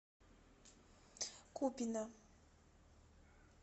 купино